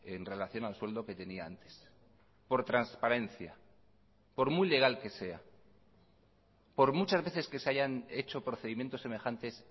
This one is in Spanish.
en relación al sueldo que tenía antes por transparencia por muy legal que sea por muchas veces que se hayan hecho procedimientos semejantes